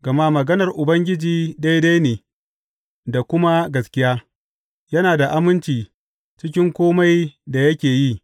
Gama maganar Ubangiji daidai ne da kuma gaskiya; yana da aminci cikin kome da yake yi.